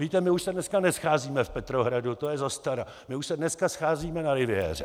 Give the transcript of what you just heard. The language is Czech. Víte, my už se dneska nescházíme v Petrohradu, to je zastara, my už se dneska scházíme na Riviéře.